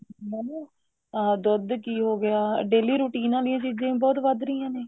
ਮੈਨੂੰ ਅਹ ਦੁੱਧ ਘੀ ਹੋਗਿਆ daily routine ਆਲੀਆਂ ਚੀਜ਼ਾਂ ਵੀ ਬਹੁਤ ਵੱਧ ਰਹੀਆਂ ਨੇ